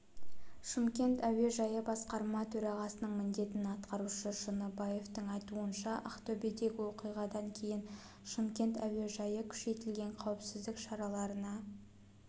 шымкент әуежайы басқарма төрағасының міндетін атқарушы шыныбаевтың айтуынша ақтөбедегі оқиғадан кейін шымкент әуежайы күшейтілген қауіпсіздік шараларына